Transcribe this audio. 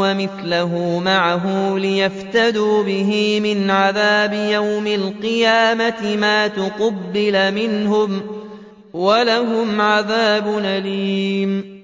وَمِثْلَهُ مَعَهُ لِيَفْتَدُوا بِهِ مِنْ عَذَابِ يَوْمِ الْقِيَامَةِ مَا تُقُبِّلَ مِنْهُمْ ۖ وَلَهُمْ عَذَابٌ أَلِيمٌ